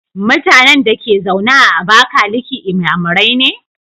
Mutanan Dake zaune a abakaliki inyamurai ne?